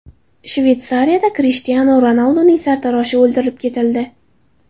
Shveysariyada Krishtianu Ronalduning sartaroshi o‘ldirib ketildi .